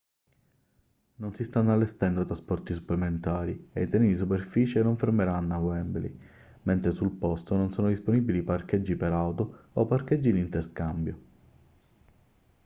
non si stanno allestendo trasporti supplementari e i treni di superficie non fermeranno a wembley mentre sul posto non sono disponibili parcheggi per auto o parcheggi di interscambio